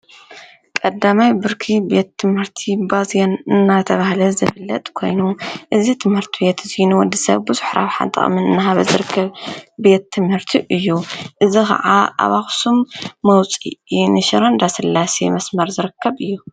ቀዳማይ ብርኪ ቤት ትምህርቲ ባዜን እናተብሃለ ዝፍለጥ ኮይኑ እዚ ትምህርቲ ቤት እዚ ንወዲ ሰብ ቡዙሕ ረብሓ ጥቅምን እንዳሃበ ዝርከብ ቤት ትምህርቲ እዩ፡፡ እዚ ከዓ አብ አክሱም መውፅኢ ንሽረ እንዳስላሴ መስመር ዝርከብ እዩ፡፡